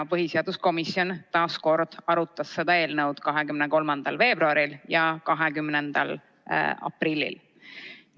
Põhiseaduskomisjon arutas eelnõu 23. veebruaril ja 20. aprillil.